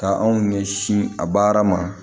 Ka anw ɲɛsin a baara ma